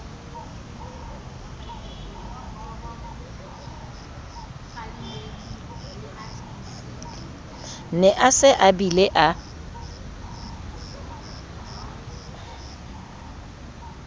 ne a se abile a